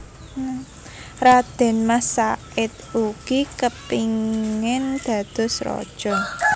Radén Mas Said ugi kepingin dados raja